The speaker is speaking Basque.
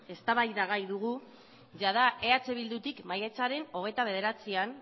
eztabaidagai dugu jada eh bildutik maiatzaren hogeita bederatzian